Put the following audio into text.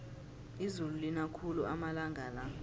izulu lina khulu amalanga la